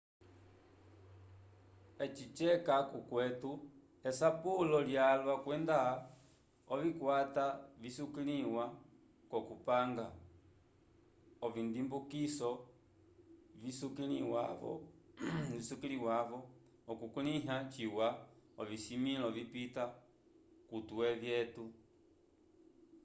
eci ceca k'okwetu esapulo lyalwa kwenda ovikwata visukiliwa k'okupanga ovindimbukiso visukiliwa-vo okukulĩha ciwa ovisimĩlo vipita k'ovitwe vyetu